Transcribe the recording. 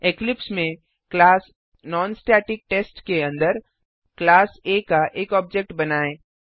Eclipse में class non static test के अंदर क्लास आ का एक ऑब्जेक्ट बनाएँ